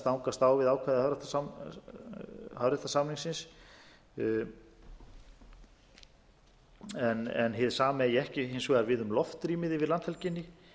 eða kjarnorkuúrgang kunni að stangast á við ákvæði hafréttarsamningsins en hið sama eigi ekki hins vegar við um loftrýmið yfir landhelginni